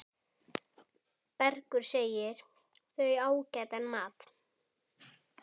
Bergur segir þau ágætan mat.